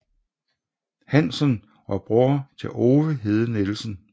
Hansen og bror til Ove Hede Nielsen